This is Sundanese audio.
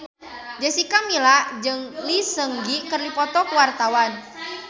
Jessica Milla jeung Lee Seung Gi keur dipoto ku wartawan